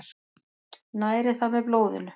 Næri það með blóðinu.